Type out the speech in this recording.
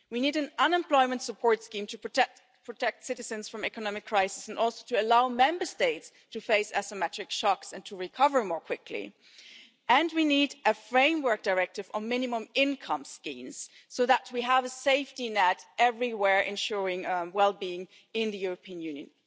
We need an unemployment support scheme to protect citizens from economic crises and to allow Member States to cope with asymmetric shocks and to recover more quickly, and we need a framework directive on minimum income schemes so that we have a safety net everywhere, ensuring well-being in the European Union.